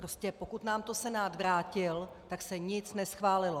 Prostě pokud nám to Senát vrátil, tak se nic neschválilo.